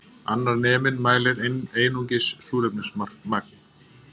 Annar neminn mælir einungis súrefnismagn